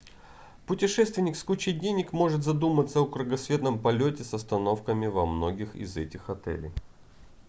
путешественник с кучей денег может задуматься о кругосветном полете с остановками во многих из этих отелей